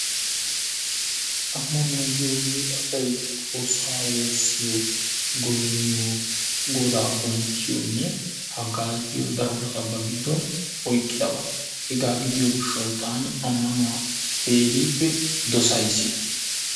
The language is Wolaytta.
Ammanuwa giyogee asay xoossaa woossiyo goynniyo Godaa bonchchiyonne haggaaziyo darobata ba giddon oyqqidaba, hegaa gidiyo gishshawu taani ammanuwa keehippe dossays.